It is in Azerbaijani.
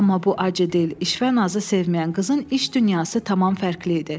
Amma bu acıdil, işvə-nazı sevməyən qızın iş dünyası tamam fərqli idi.